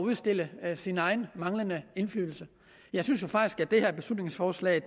udstille sin egen manglende indflydelse jeg synes jo faktisk at det her beslutningsforslag